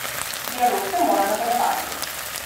Dialog se mora nadaljevati.